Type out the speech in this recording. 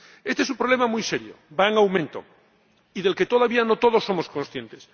Este es un problema muy serio ―va en aumento― y del que todavía no todos somos conscientes.